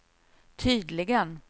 tydligen